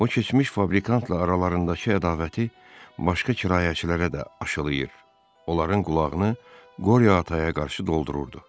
O, keçmiş fabrikantla aralarındakı ədavəti başqa kirayəçilərə də aşlayır, onların qulağını Qoriya Ataya qarşı doldururdu.